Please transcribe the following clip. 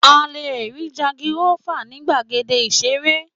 À lé rí jangirọ́fà ní gbàgéde ìsérè